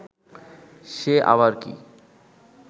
সে আবার কি